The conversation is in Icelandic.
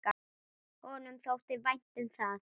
Honum þótti vænt um það.